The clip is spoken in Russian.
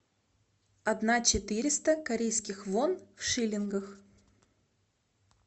одна четыреста корейских вон в шиллингах